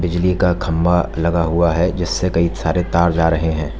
बिजली का खंभा लगा हुआ है जिससे कई सारे तार जा रहे हैं।